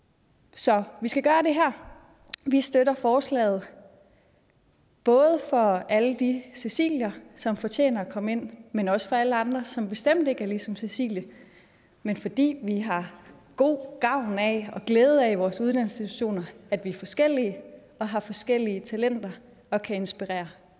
så vi skal gøre det her vi støtter forslaget både for alle de cecilier som fortjener at komme ind men også for alle andre som bestemt ikke er ligesom cecilie men fordi vi har god gavn af og glæde af i vores uddannelsesinstitutioner at vi er forskellige og har forskellige talenter og kan inspirere